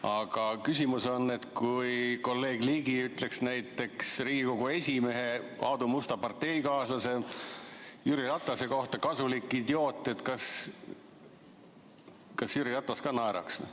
Aga küsimus on, et kui kolleeg Ligi ütleks näiteks Riigikogu esimehe, Aadu Musta parteikaaslase Jüri Ratase kohta kasulik idioot, siis kas Jüri Ratas ka naeraks.